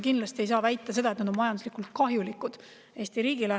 Kindlasti ei saa väita, et nad on majanduslikult kahjulikud Eesti riigile.